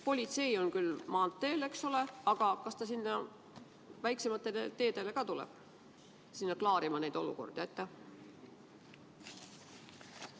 Politsei on küll maanteel, eks ole, aga kas ta ka väiksematele teedele läheb neid olukordi klaarima?